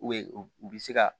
U bɛ u bɛ se ka